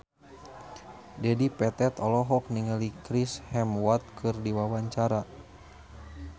Dedi Petet olohok ningali Chris Hemsworth keur diwawancara